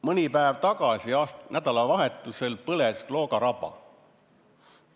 Mõni päev tagasi, nädalavahetusel põles Klooga raba.